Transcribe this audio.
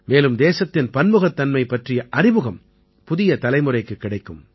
மேலும் தேசத்தின் பன்முகத்தன்மை பற்றிய அறிமுகம் புதிய தலைமுறைக்குக் கிடைக்கும்